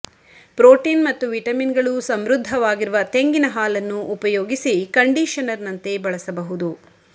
protein ಮತ್ತು vitamin ಗಳು ಸಮೃದ್ಧವಾಗಿರುವ ತೆಂಗಿನ ಹಾಲನ್ನು ಉಪಯೋಗಿಸಿ ಕಂಡೀಷನರ್ ನಂತೆ ಬಳಸಬಹುದು